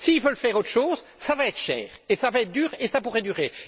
S'ils veulent faire autre chose, cela va être cher, cela va être dur et ça pourrait durer!